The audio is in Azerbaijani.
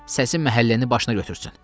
Səsi məhəlləni başına götürsün.